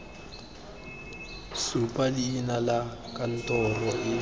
supa leina la kantoro e